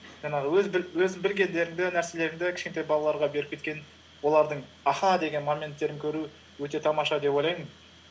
жаңағы өз білгендеріңді нәрселеріңді кішкентай балаларға беріп кеткен олардың аха деген моменттерін көру өте тамаша деп ойлаймын